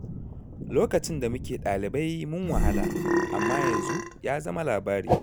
Lokacin da muke ɗalibai mun wahala, amma yanzu ya zama labari.